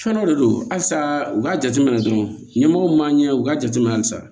Fɛn dɔ de don halisa u k'a jateminɛ dɔrɔn ɲɛmɔgɔ man ɲɛ u ka jateminɛ halisa